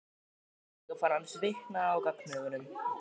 Konungur fann að hann svitnaði á gagnaugunum.